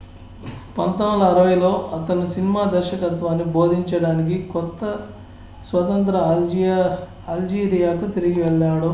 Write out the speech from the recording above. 1960లలో అతను సినిమా దర్శకత్వాన్ని బోధించడానికి కొత్త-స్వతంత్ర అల్జీరియాకు తిరిగి వెళ్లాడు